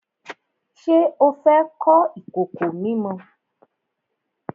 Ṣé o fẹ́ kọ́ ìkòkò mímọ?